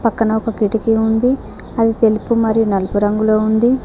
ఒక కిటికీ ఉంది అది తెలుపు మరియు నలుపు రంగులో ఉంది.